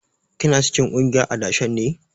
Kina cikin kungiyar adashen ne?